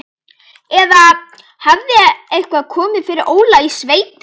Eða hafði eitthvað komið fyrir Óla í sveitinni?